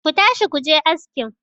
ku tashi ku je askin!